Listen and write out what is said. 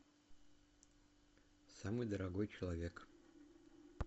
самый дорогой человек